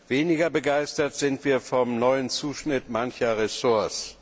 Weniger begeistert sind wir von dem neuen Zuschnitt mancher Ressorts.